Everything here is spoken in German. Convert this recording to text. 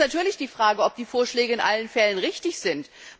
Es ist natürlich die Frage, ob die Vorschläge in allen Fällen richtig sind.